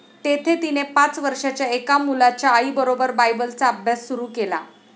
तेथे तिने पाच वर्षांच्या एका मुलाच्या आईबरोबर बायबलचा अभ्यास सुरू केला.